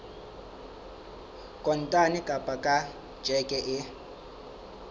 kontane kapa ka tjheke e